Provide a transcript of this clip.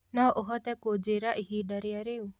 no ũhote kunjĩĩra ĩhĩnda rĩa riu